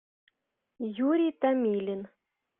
юрий томилин